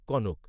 ক।